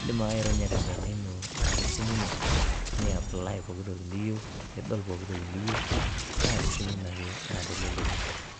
indim ake aironya tenkaina ino naa tesimu ino ni apply pokitoki niyieu nidol pokitoki niyieu naa tesimu ino ake naa teleleki.